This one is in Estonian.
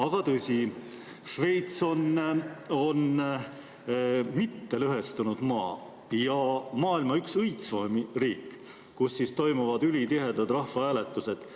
Aga tõsi, Šveits on mittelõhestunud maa ja maailma üks õitsvamaid riike, kus rahvahääletused toimuvad ülitihedalt.